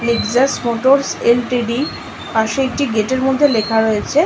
Lexus Motors LTD. পাশে একটি gate -এর মধ্যে লেখা রয়েছে--